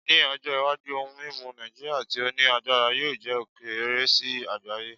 Ni ojo iwaju ohun mimu Naijiria ti o ni agbara yoo jẹ okeere si agbaye